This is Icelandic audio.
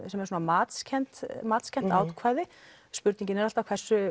sem er svona matskennt matskennt ákvæði spurningin er alltaf